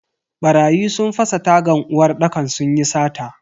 Barayi sun fasa tagan uwarɗakar sunyi sata.